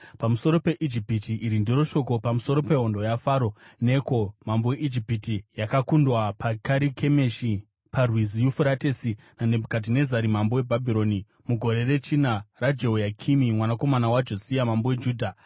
Pamusoro peIjipiti: Iri ndiro shoko pamusoro pehondo yaFaro Neko mambo weIjipiti, yakakundwa paKarikemishi, paRwizi Yufuratesi naNebhukadhinezari mambo weBhabhironi mugore rechina raJehoyakimi mwanakomana waJosia mambo weJudha: